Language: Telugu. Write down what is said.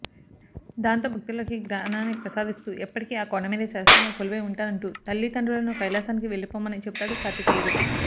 దాంతో భక్తులకి జ్ఞానాన్ని ప్రసాదిస్తూ ఎప్పటికీ ఆ కొండమీదే శాశ్వతంగా కొలువై ఉంటానంటూ తల్లిదండ్రులను కైలాసానికి వెళ్లిపొమ్మని చెబుతాడు కార్తికేయుడు